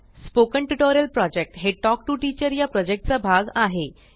spoken tutorial project हे talk to teacher चा भाग आहे